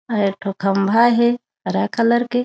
अउ एक ठो खंभा हे हरा कलर के।